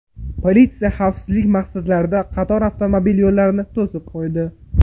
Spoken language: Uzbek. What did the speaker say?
Politsiya xavfsizlik maqsadlarida qator avtomobil yo‘llarini to‘sib qo‘ydi.